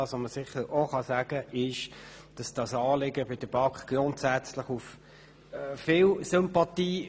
Das Anliegen stösst bei der BaK grundsätzlich auf viel Sympathie.